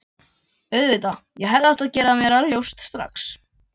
Auðvitað, ég hefði átt að gera mér það ljóst strax.